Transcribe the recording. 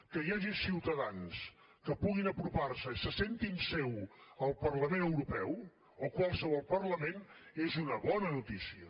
que hi hagi ciutadans que puguin apropar se i se sentin seu el parlament europeu o qualsevol parlament és una bona notícia